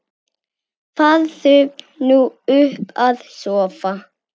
Farðu nú upp að sofa.